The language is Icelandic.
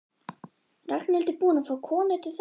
Ragnhildur búin að fá konu til þess?